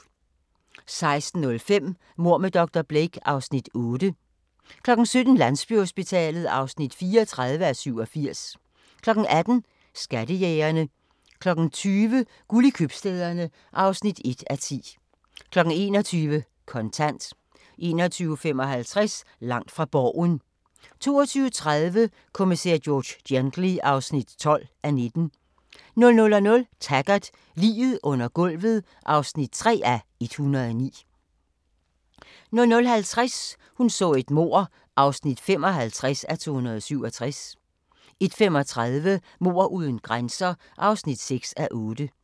16:05: Mord med dr. Blake (Afs. 8) 17:00: Landsbyhospitalet (34:87) 18:00: Skattejægerne 20:00: Guld i Købstæderne (1:10) 21:00: Kontant 21:55: Langt fra Borgen 22:30: Kommissær George Gently (12:19) 00:00: Taggart: Liget under gulvet (3:109) 00:50: Hun så et mord (55:267) 01:35: Mord uden grænser (6:8)